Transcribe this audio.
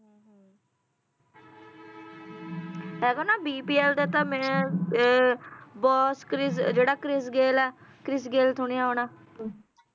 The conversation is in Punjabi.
ਇਹਦਾ ਨਾ bpl ਦਾ ਤਾਂ ਮੈਂ boss ਕ੍ਰਿਸ ਜਿਹੜਾ ਕ੍ਰਿਸ ਗੇਲ ਸੁਣਿਆ ਹੋਣਾ